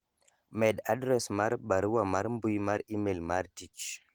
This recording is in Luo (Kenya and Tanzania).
med adres mar barua mar mbui mar email mar tich